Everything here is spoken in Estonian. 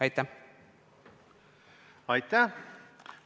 Aitäh!